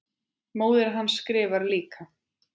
Móðir hans skrifar líka.